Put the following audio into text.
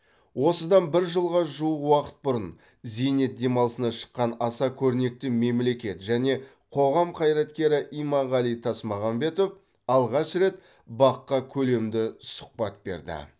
осыдан бір жылға жуық уақыт бұрын зейнет демалысына шыққан аса көрнекті мемлекет және қоғам қайраткері иманғали тасмағамбетов алғаш рет бақ қа көлемді сұхбат берді